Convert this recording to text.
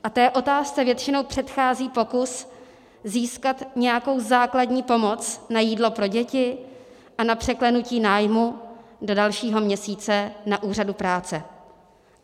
A té otázce většinou předchází pokus získat nějakou základní pomoc na jídlo pro děti a na překlenutí nájmu do dalšího měsíce na úřadu práce.